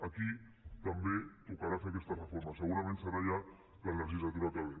aquí també tocarà fer aquesta reforma segurament serà ja en la legislatura que ve